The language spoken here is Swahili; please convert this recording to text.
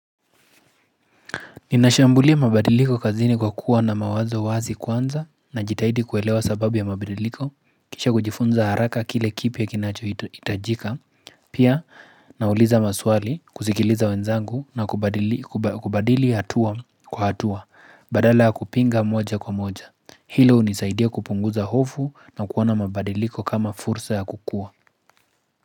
Ninashambulia mabadiliko kazini kwa kuwa na mawazo wazi kwanza na jitahidi kuelewa sababu ya mabadiliko, kisha kujifunza haraka kile kipya kinacho hitajika, pia nauliza maswali, kusikiliza wenzangu na kubadili hatua kwa hatua, badala ya kupinga moja kwa moja. Hilo unisaidia kupunguza hofu na kuona mabadiliko kama fursa ya kukua.